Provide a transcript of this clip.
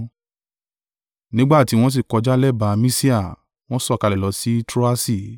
Nígbà tí wọ́n sì kọjá lẹ́bàá Misia, wọ́n sọ̀kalẹ̀ lọ sí Troasi.